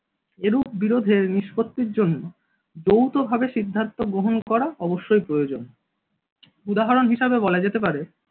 এরূপ বিরোধের নিষ্পত্তির জন্য যৌথভাবে সিদ্ধান্ত গ্রহণ করা অবশ্যই প্রয়োজন উদাহরণ হিসাবে বলা যেতে পারে।